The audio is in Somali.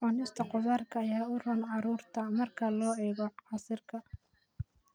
Cunista khudaarta ayaa u roon carruurta (iyo ilkahooda) marka loo eego casiirka.